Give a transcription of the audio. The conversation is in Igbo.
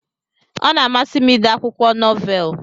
Ọna amasi m ide akwụkwọ nọvel.